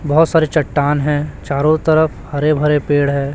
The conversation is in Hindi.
बहुत सारे चट्टान हैं चारों तरफ हरे भरे पेड़ है।